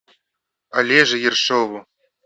олеже ершову